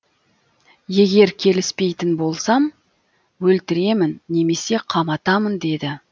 егер келіспейтін болсам өлтіремін немесе қаматамын деді